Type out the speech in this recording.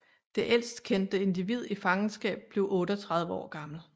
Det ældst kendte individ i fangenskab blev 38 år gammel